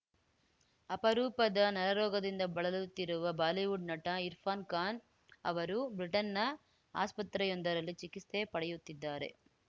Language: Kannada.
ಅಪರೂಪದ ನರರೋಗದಿಂದ ಬಳಲುತ್ತಿರುವ ಬಾಲಿವುಡ್‌ ನಟ ಇರ್ಫಾನ್‌ ಖಾನ್‌ ಅವರು ಬ್ರಿಟನ್‌ನ ಆಸ್ಪತ್ರೆಯೊಂದರಲ್ಲಿ ಚಿಕಿತ್ಸೆ ಪಡೆಯುತ್ತಿದ್ದಾರೆ